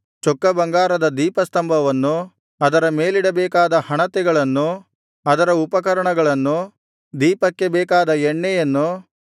ಚೊಕ್ಕ ಬಂಗಾರದ ದೀಪಸ್ತಂಭವನ್ನು ಅದರ ಮೇಲಿಡಬೇಕಾದ ಹಣತೆಗಳನ್ನು ಅದರ ಉಪಕರಣಗಳನ್ನು ದೀಪಕ್ಕೆ ಬೇಕಾದ ಎಣ್ಣೆಯನ್ನು